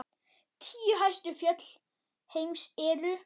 Tíu hæstu fjöll heims eru